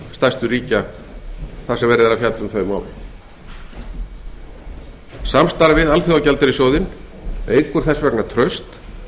stærstu ríkja þar sem verið er að fjalla um þau mál samstarf við alþjóðagjaldeyrissjóðinn eykur því traust